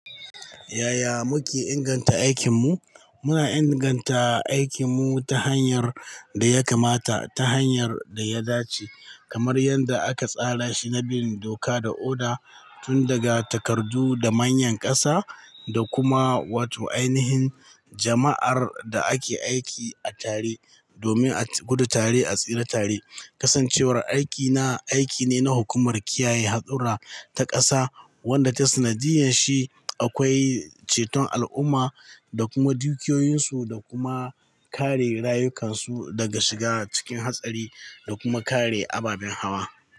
Yaya muke inganta aikinmu? Muna inganta aikinmu ta hanyar da ya kamata, ta hanyar da ya dace, kamar yadda aka tsara shi na bin doka da oda, tun daga takardu da manyan ƙasa da kuma wato ainihin jama'ar da ake aiki a tare domin a gudu tare, a tsira tare. Kasancewar aikina aiki ne na hukumar kiyaye hatsura ta ƙasa wadda ta sanadiyar shi akwai ceton al'umma da kuma dukiyoyinsu da kuma kare rayukansu daga shiga cikin hatsari da kuma kare ababen hawa.